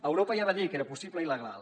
europa ja va dir que era possible i legal